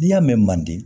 N'i y'a mɛn man di